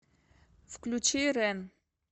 включи рэн